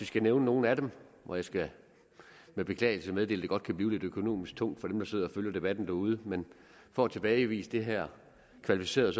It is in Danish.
skal nævne nogle af dem og jeg skal med beklagelse meddele at det godt kan blive lidt økonomisk tungt for dem der sidder og følger debatten derude men for at tilbagevise det her kvalificeret